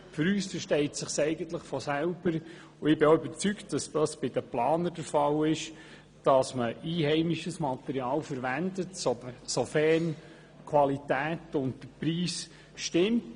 Für uns versteht es sich von selbst, dass man einheimisches Material verwendet, sofern die Qualität und der Preis stimmen.